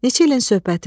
Neçə ilin söhbətidir.